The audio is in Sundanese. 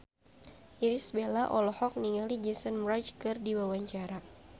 Irish Bella olohok ningali Jason Mraz keur diwawancara